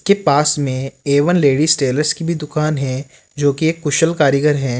के पास में ए वन लेडिज टेलर्स की भी दुकान है जो की एक कुशल कारीगर हैं।